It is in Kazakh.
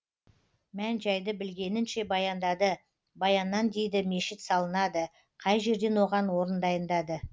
мән жайды білгенінше баяндады баяннан дейді мешіт салынады қай жерден оған орын дайындады